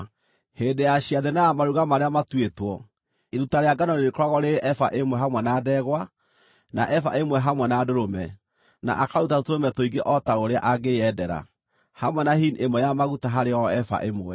“ ‘Hĩndĩ ya ciathĩ na ya maruga marĩa matuĩtwo, iruta rĩa ngano rĩrĩkoragwo rĩrĩ eba ĩmwe hamwe na ndegwa, na eba ĩmwe hamwe na ndũrũme, na akaruta tũtũrũme tũingĩ o ta ũrĩa angĩyendera, hamwe na hini ĩmwe ya maguta harĩ o eba ĩmwe.